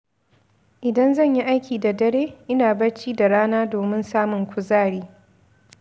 Idan zan yi aiki da dare, ina bacci da rana domin samun kuzari.